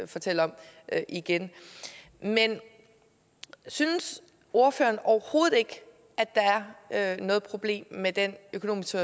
fortælle om igen men synes ordføreren overhovedet ikke at der er noget problem med den økonomiske